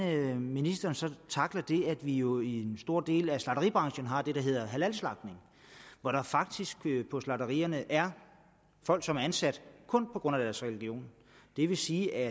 ministeren så tackler det at vi jo i en stor del af slagteribranchen har det der hedder halalslagtning hvor der faktisk på slagterierne er folk som er ansat kun på grund af deres religion det vil sige at